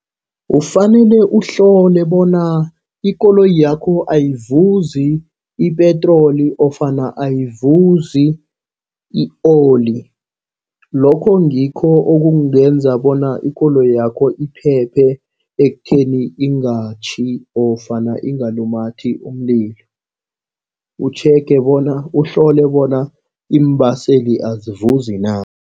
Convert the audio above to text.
Kufanele uhlole bona ikoloyi yakho ayivuzi ipetroli ofana ayivuzi i-oli. Lokho ngikho okungenza bona ikoloyakho iphephe ekutheni ingatjhi ofana ingalumathi umlilo. Utjhege bona, uhlole bona iimbaseli azivuzi na.